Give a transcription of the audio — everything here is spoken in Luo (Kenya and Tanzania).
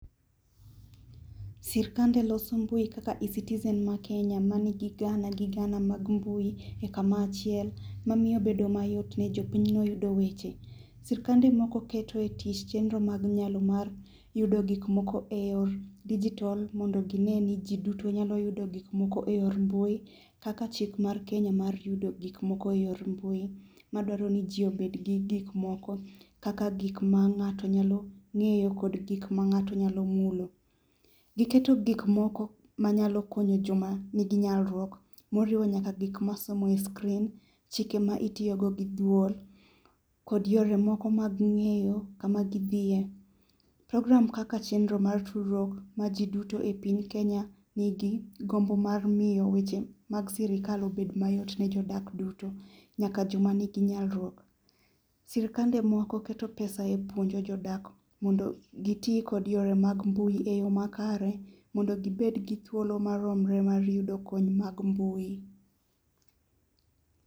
Sirikande loso mbui kaka eCitizen mar Kenya mani gi gana gi gana mag mbui e kamoro achiel mamiyo obedo mayot ni jopinyno e yudo weche. Sirkande moko keto e tich chenro mag nyalo mag yudo gik moko e yor dijitol mondo ginen ni jiduto nyalo yudo gik moko e yor mbui kaka chik mar Kenya mar yudo gik moko e yor mbui madwaro ni ji obed gi gik moko kaka gik ma ng'ato nyalo ng'eyo kod gik ma ng'ato nyalo mulo. Giketo gik moko manyalo konyo joma nigi nyalo moriwo nyakla gik misomo e screen, chike ma itiyogo gi duol kod yore moko mag ng'eyo kama gidhiye. Program kaka chenro mar tudruok mar jiduto e piny Kenya nigi gombo mar miyo weche mag sirikal obed mayot nijiodak duto nyaka joma nigi nyalo. Sirkande mokoketo pesa epuonjo jodak mondo giti kod yore mag mbui eyoo makare mondo gibed gi thuolo maromre mar yudo kony mag mbui.